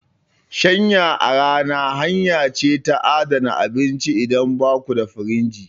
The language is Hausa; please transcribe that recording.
Shanya a rana hanya ce ta adana abinci idan baku da firinji.